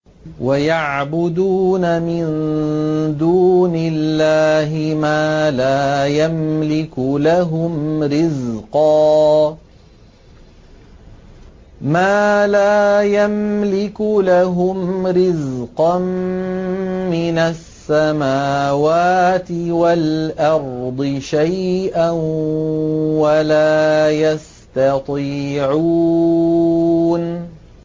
وَيَعْبُدُونَ مِن دُونِ اللَّهِ مَا لَا يَمْلِكُ لَهُمْ رِزْقًا مِّنَ السَّمَاوَاتِ وَالْأَرْضِ شَيْئًا وَلَا يَسْتَطِيعُونَ